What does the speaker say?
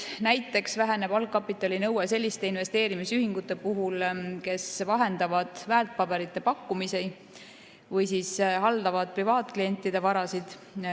Näiteks väheneb algkapitalinõue selliste investeerimisühingute puhul, mis vahendavad väärtpaberite pakkumisi või haldavad privaatklientide varasid.